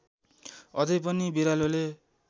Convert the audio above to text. अझै पनि बिरालोले